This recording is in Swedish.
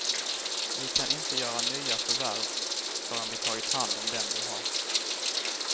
Vi kan inte göra nya förvärv förrän vi tagit hand om dem vi har.